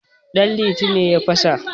danliti ne ya fasa